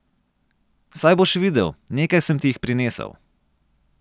Saj boš videl, nekaj sem ti jih prinesel.